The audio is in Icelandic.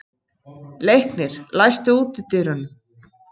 Leiknir, læstu útidyrunum.